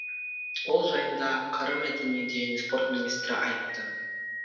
ол жайында қр мәдениет және спорт министрі айтты